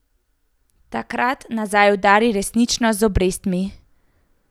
Takrat nazaj udari resničnost z obrestmi.